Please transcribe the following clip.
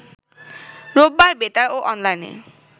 রোববার বেতার ও অনলাইনে